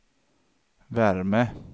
värme